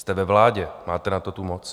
Jste ve vládě, máte na to tu moc.